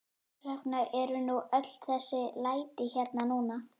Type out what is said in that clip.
Þess vegna eru nú öll þessi læti hérna núna.